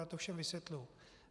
Já to všem vysvětluji.